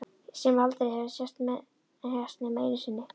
Sem aldrei hafa sést nema einu sinni.